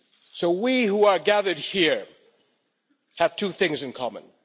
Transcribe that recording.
So we who are gathered here have two things in common.